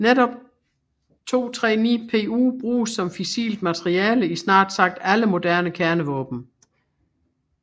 Netop 239Pu bruges som fissilt materiale i snart sagt alle moderne kernevåben